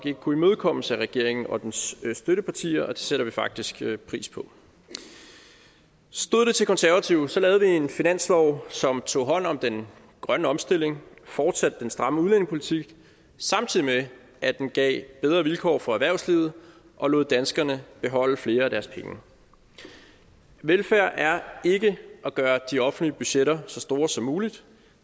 ikke kunne imødekommes af regeringen og dens støttepartier og det sætter vi faktisk pris på stod det til konservative lavede vi en finanslov som tog hånd om den grønne omstilling fortsatte den stramme udlændingepolitik samtidig med at den gav bedre vilkår for erhvervslivet og lod danskerne beholde flere af deres penge velfærd er ikke at gøre de offentlige budgetter så store som muligt